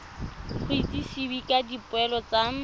go itsisiwe ka dipoelo tsa